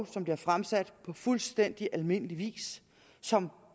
som bliver fremsat på fuldstændig almindelig vis som